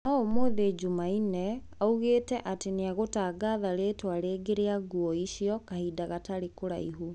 Noo ũmuthi Jumanne, augite ati niegũtangatha ritwa ringi ria guo icio kahinda gatari karaihu.